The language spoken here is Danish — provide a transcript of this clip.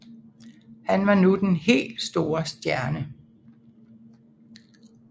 Han var nu den helt store stjerne